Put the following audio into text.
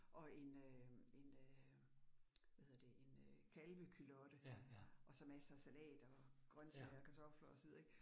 Og en øh en øh hvad hedder det en øh kalveculotte, og så masser salater og grøntsager kartofler og så videre ik